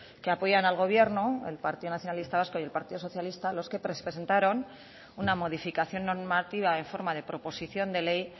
que apoyan al gobierno el partido nacionalista vasco y el partido socialista los que presentaron una modificación normativa en forma de proposición de ley